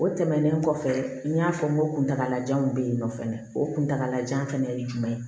O tɛmɛnen kɔfɛ n y'a fɔ n ko kuntaala jan in bɛ yen nɔ fɛnɛ o kuntagalajan fɛnɛ ye jumɛn ye